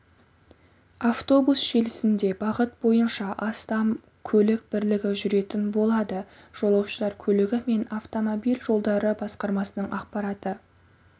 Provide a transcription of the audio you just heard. автобус желісінде бағыт бойынша астам көлік бірлігі жүретін болады жолаушылар көлігі және автомобиль жолдары басқармасының ақпараты